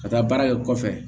Ka taa baara kɛ kɔfɛ